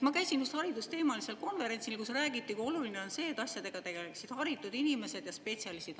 Ma käisin just haridusteemalisel konverentsil, kus räägiti, kui oluline on see, et asjadega tegeleksid haritud inimesed ja spetsialistid.